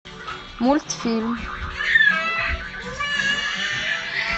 мультфильм